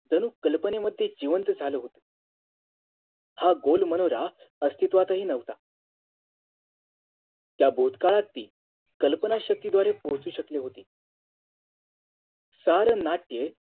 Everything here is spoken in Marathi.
जणू कल्पनेवती जिवंत झाल होत हा गोल मनोरा अस्तित्वातही नव्हता त्या भूतकाळातील कल्पना शक्तीद्वारे पोहचू शकले होते सार नाट्य